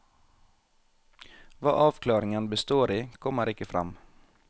Hva avklaringen består i, kommer ikke frem.